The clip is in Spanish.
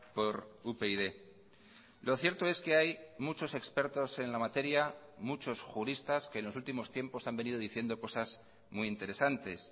por upyd lo cierto es que hay muchos expertos en la materia muchos juristas que en los últimos tiempos han venido diciendo cosas muy interesantes